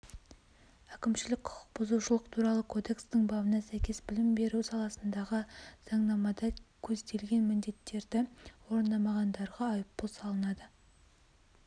әкімшілік құқық бұзушылық туралы кодекстің бабына сәйкес білім беру саласындағы заңнамада көзделген міндеттерді орындамағандарға айыппұл салынады